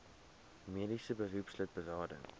mediese beroepslid berading